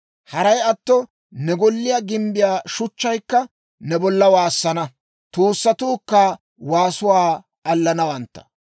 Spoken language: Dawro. Haray atto ne golliyaa gimbbiyaa shuchchaykka ne bolla waassana; tuusatuukka waasuwaa allanawantta.